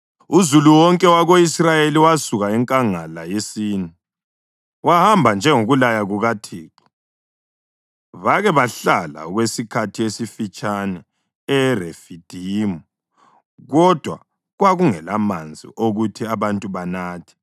Uzulu wonke wako-Israyeli wasuka enkangala yeSini, wahamba njengokulaya kukaThixo. Bake bahlala okwesikhathi esifitshane eRefidimu kodwa kwakungelamanzi okuthi abantu banathe.